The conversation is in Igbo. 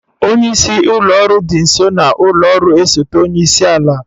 Onye isi ụlọ ọrụ dị nso n'ụlọ ọrụ osote onye isi ala.